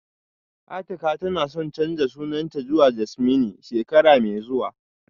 Atika tana son canza sunanta zuwa Jasmine shekara mai zuwa